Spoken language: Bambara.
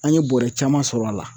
An ye bɔrɛ caman sɔrɔ a la